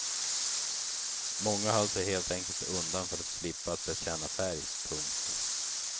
Många höll sig helt enkelt undan för att slippa att bekänna färg. punkt